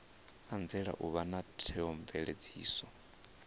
anzela u vha na theomveledziso